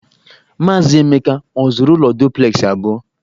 Maazị Emeka ọ zụrụ ụlọ duplexị abụọ?